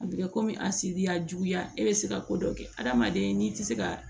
A bɛ kɛ komi a si diya juguya e bɛ se ka ko dɔ kɛ hadamaden n'i tɛ se ka